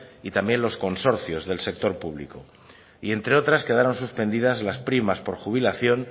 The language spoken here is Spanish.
y también los consorcios del sector público y entre otras quedaron suspendidas las primas por jubilación